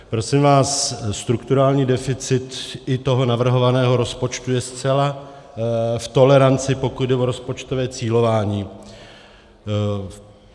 Prosím vás, strukturální deficit i toho navrhovaného rozpočtu je zcela v toleranci, pokud jde o rozpočtové cílování.